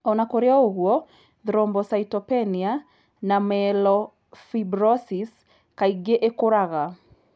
O na kũrĩ ũguo, thrombocytopenia na myelofibrosis kaingĩ ikũraga.